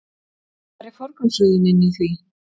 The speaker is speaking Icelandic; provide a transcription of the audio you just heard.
Hvar er forgangsröðunin í því?